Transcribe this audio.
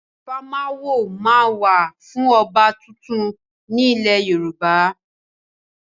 Ìfimawo máa ń wà fún ọba tuntun ni ilẹ̀ Yorùbá.